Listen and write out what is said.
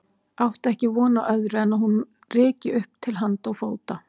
Átti ekki von á öðru en að hún ryki upp til handa og fóta.